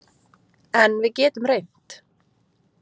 En við getum reynt.